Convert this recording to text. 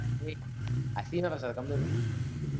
ஏய் அசிங்கமா பேசாத, கம்முனு இரு.